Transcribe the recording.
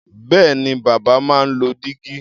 Bẹ́ẹ̀ni, bàbá máa ń lo dígí.